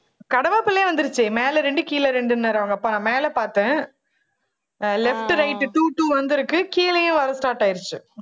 கடவாப்பல்லே வந்துருச்சு மேல இரண்டு கீழே இரண்டுன்னாரு அவங்க அப்பா நான் மேல பார்த்தேன் ஆஹ் left right two two வந்துருக்கு கீழேயும் வர start ஆயிருச்சு